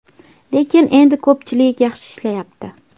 Lekin endi ko‘pchilik yaxshi ishlayapti.